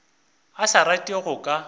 a sa rate go ka